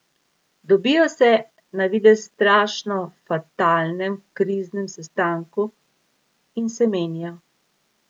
Dobijo se na, na videz strašno fatalnem, kriznem sestanku in se menijo.